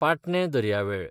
पाटणें दर्यावेळ